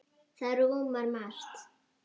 Það rúmar margt.